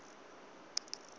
max